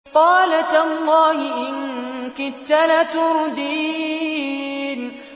قَالَ تَاللَّهِ إِن كِدتَّ لَتُرْدِينِ